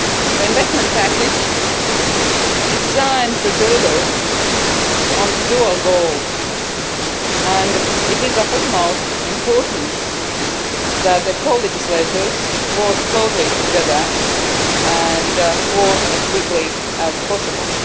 The investment package is designed to deliver on this dual goal, and it is of the utmost importance that the co legislators work closely together and as quickly as possible.